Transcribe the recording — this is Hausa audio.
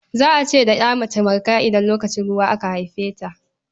Za a ce da mace Marka idan lokacin ruwa aka haife ta.